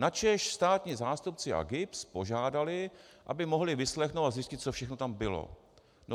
Načež státní zástupci a GIBS požádali, aby mohli vyslechnout a zjistit, co všechno tam bylo.